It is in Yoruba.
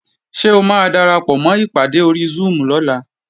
Ṣé o máa darapọ̀mọ́ ìpàdé ori Zoom lọ́la?